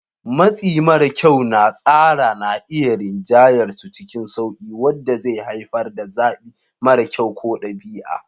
Matsi mara kyau na tsara na iya rinjayar su cikin sauƙi, wanda zai haifar da zaɓi mara kyau ko ɗabi'a.